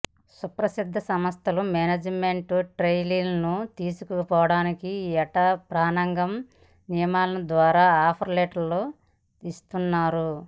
సుప్రసిద్ధ సంస్థలు మేనేజ్మెంట్ ట్రెయినీలను తీసుకోవటానికి ఏటా ప్రాంగణ నియామకాల ద్వారా ఆఫర్ లెటర్లు ఇస్తుంటాయి